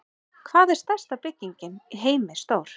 Hvað er stærsta bygging í heimi stór?